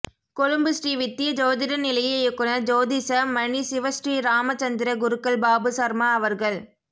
கொழும்பு ஸ்ரீ வித்திய ஜோதிட நிலைய இயக்குனர் ஜோதிஷ மணி சிவஸ்ரீ ராம சந்திர குருக்கள் பாபு சர்மா அவர்கள்